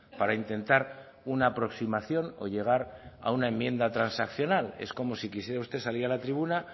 para intentar una aproximación o llegar a una enmienda transaccional es como si quisiera usted salir a la tribuna